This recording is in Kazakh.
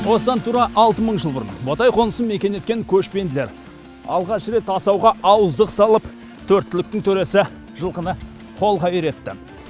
осыдан тура алты мың жыл бұрын ботай қонысын мекен еткен көшпенділер алғаш рет асауға ауыздық салып төрт түліктің төресі жылқыны қолға үйретті